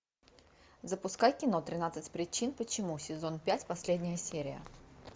запускай кино тринадцать причин почему сезон пять последняя серия